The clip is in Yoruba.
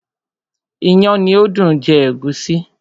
iyán ni ó dùn jẹ ègúsí.